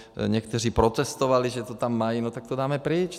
Někteří protestovali, že to tam mají, no tak to dáme pryč.